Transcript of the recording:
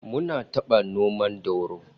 Mun taba noma dauro